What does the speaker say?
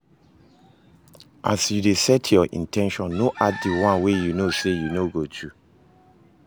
As you de set your in ten tions no add di one wey you know say you no go do